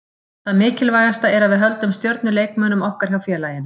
Það mikilvægasta er að við höldum stjörnuleikmönnum okkar hjá félaginu.